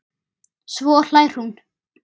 Svo hlær hún.